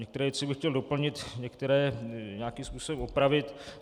Některé věci bych chtěl doplnit, některé nějakým způsobem opravit.